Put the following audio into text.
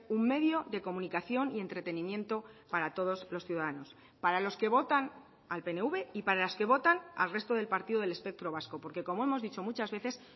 un medio de comunicación y entretenimiento para todos los ciudadanos para los que votan al pnv y para las que votan al resto del partido del espectro vasco porque como hemos dicho muchas veces